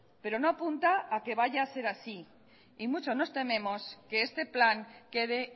pero no apunta a que vaya a ser así y mucho nos tememos que este plan quede